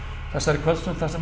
þessari kvöldstund þar sem